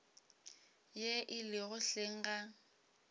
ye e lego hleng ga